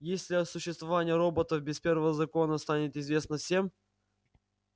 если о существовании роботов без первого закона станет известно всем